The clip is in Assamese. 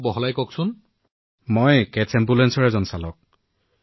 মই কেটছ এম্বুলেন্সত চালকৰ পদত আছো আৰু কণ্ট্ৰলত আমালৈ এটা টেবত কল আহে